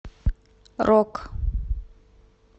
рок